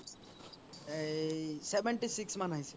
এই seventy six মান আহিছে